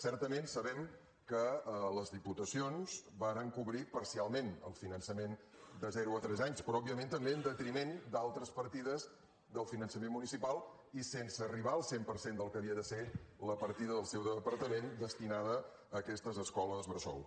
certament sabem que les diputacions varen cobrir parcialment el finançament de zero a tres anys però òbviament també en detriment d’altres partides del finançament municipal i sense arribar al cent per cent del que havia de ser la partida del seu departament destinada a aquestes escoles bressol